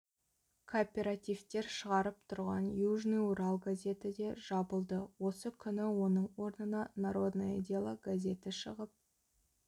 кооперативтер шығарып тұрған южный урал газеті де жабылды осы күні оның орнына народное дело газеті шығып